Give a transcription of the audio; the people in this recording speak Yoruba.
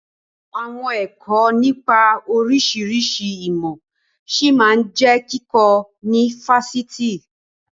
Àwọn ẹ̀kọ́ nipa oríṣiríṣi ìmọ̀ ṣí máa jẹ kíkọ ni Fásitì.